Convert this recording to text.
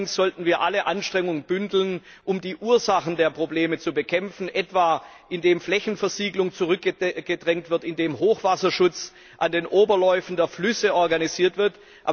Allerdings sollten wir alle Anstrengungen bündeln, um die Ursachen der Probleme zu bekämpfen, etwa indem Flächenversiegelung zurückgedrängt wird, indem Hochwasserschutz an den Oberläufen der Flüsse organisiert wird.